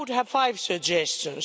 I would have five suggestions.